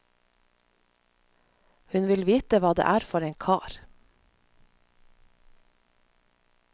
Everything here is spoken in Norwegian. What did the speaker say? Hun vil vite hva det er for en kar.